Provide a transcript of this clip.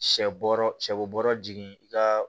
Shɛ bɔrɔ sɛ bɔrɔ jigin i ka